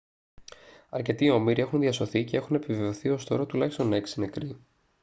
αρκετοί όμηροι έχουν διασωθεί και έχουν επιβεβαιωθεί ως τώρα τουλάχιστον 6 νεκροί